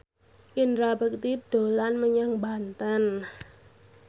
Indra Bekti dolan menyang Banten